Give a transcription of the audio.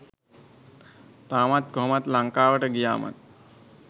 තාමත් කොහොමත් ලංකාවට ගියාම ත්